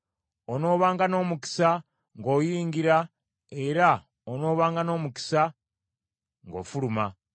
Onoobanga n’omukisa ng’oyingira era onoobanga n’omukisa ng’ofuluma.